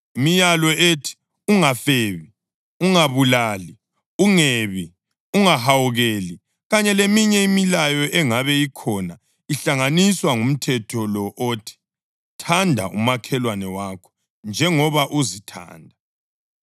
Imilayo ethi, “Ungafebi, Ungabulali, Ungebi, Ungahawukeli” + 13.9 U-Eksodasi 20.13-15, 17; UDutheronomi 5.17-19, 21 kanye leminye imilayo engabe ikhona ihlanganiswa ngumthetho lo othi: “Thanda umakhelwane wakho njengoba uzithanda.” + 13.9 ULevi 19.18